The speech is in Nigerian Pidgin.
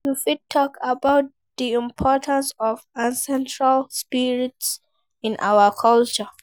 You fit talk about di importance of ancestral spirits in our culture.